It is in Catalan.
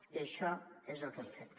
i això és el que hem fet